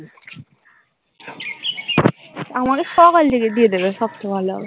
আমাকে সকাল দিকে দিয়ে দেবে সবচেয়ে ভালো হবে।